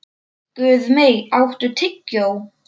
Guðmey, áttu tyggjó?